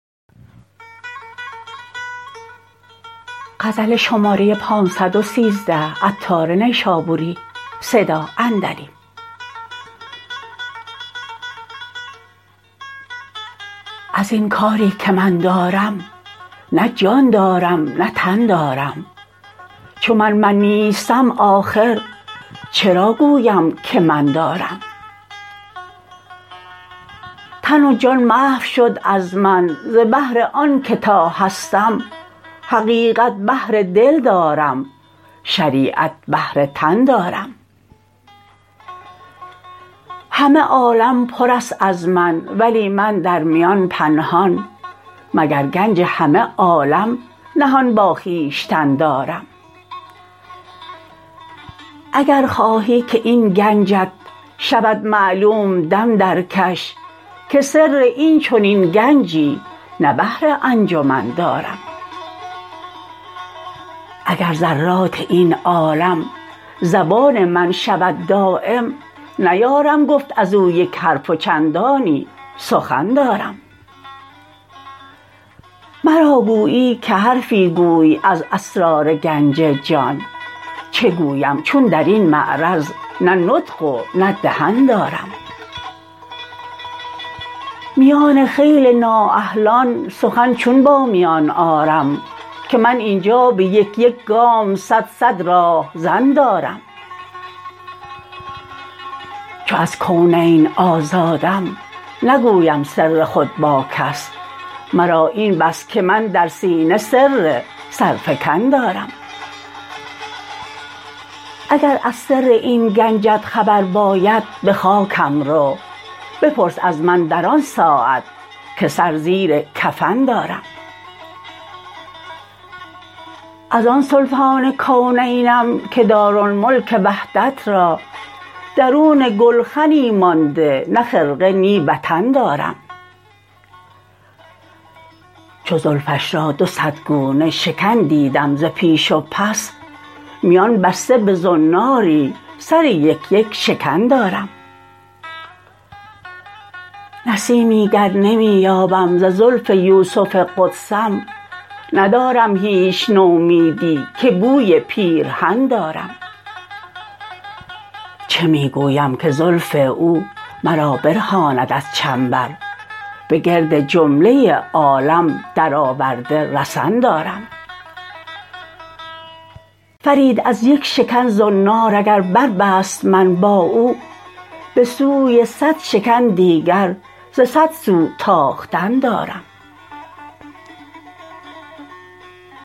ازین کاری که من دارم نه جان دارم نه تن دارم چون من من نیستم آخر چرا گویم که من دارم تن و جان محو شد از من ز بهر آنکه تا هستم حقیقت بهر دل دارم شریعت بهر تن دارم همه عالم پر است از من ولی من در میان پنهان مگر گنج همه عالم نهان با خویشتن دارم اگر خواهی که این گنجت شود معلوم دم درکش که سر این چنین گنجی نه بهر انجمن دارم اگر ذرات این عالم زبان من شود دایم نیارم گفت ازو یک حرف و چندانی سخن دارم مرا گویی که حرفی گوی از اسرار گنج جان چه گویم چون درین معرض نه نطق و نه دهن دارم میان خیل نا اهلان سخن چون با میان آرم که من اینجا به یک یک گام صد صد راهزن دارم چو از کونین آزادم نگویم سر خود با کس مرا این بس که من در سینه سر سرفکن دارم اگر از سر این گنجت خبر باید به خاکم رو بپرس از من در آن ساعت که سر زیر کفن دارم از آن سلطان کونینم که دارالملک وحدت را درون گلخنی مانده نه خرقه نی وطن دارم چو زلفش را دو صد گونه شکن دیدم ز پیش و پس میان بسته به زناری سر یک یک شکن دارم نسیمی گر نمی یابم ز زلف یوسف قدسم ندارم هیچ نومیدی که بوی پیرهن دارم چه می گویم که زلف او مرا برهاند از چنبر به گرد جمله عالم در آورده رسن دارم فرید از یک شکن زنار اگر بربست من با او به سوی صد شکن دیگر ز صد سو تاختن دارم